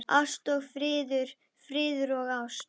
Kristborg, hækkaðu í hátalaranum.